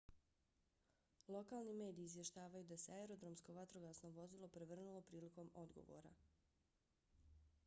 lokalni mediji izvještavaju da se aerodromsko vatrogasno vozilo prevrnulo prilikom odgovora